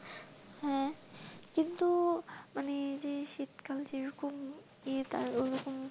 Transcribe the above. কিন্তু মানে যে শীতকাল যে রকম ইয়ে তার ওই রকম,